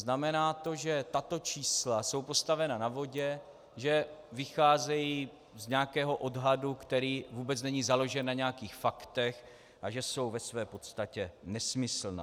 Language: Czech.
Znamená to, že tato čísla jsou postavena na vodě, že vycházejí z nějakého odhadu, který vůbec není založen na nějakých faktech, a že jsou ve své podstatě nesmyslná.